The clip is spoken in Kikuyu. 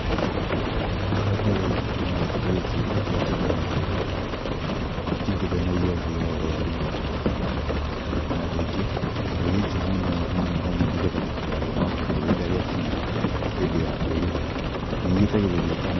Wa mbere ũndũ ũmwe kĩndũ gĩkĩ kĩmenyagĩrĩrwo, gĩtiigũithanagio thĩ o rĩmwe, o na rĩngĩ, kĩndũ gĩkĩ mũno mũno nĩgetha gĩtikagĩe magunyũ rĩrĩa gĩakinya hĩndĩ ya kweruha, nĩ gĩitagĩrĩrio kamũ-